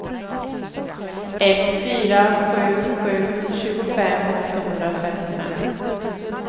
ett fyra sju sju tjugofem åttahundrafemtiofem